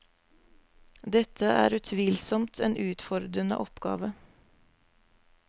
Dette er utvilsomt en utfordrende oppgave.